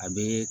A bɛ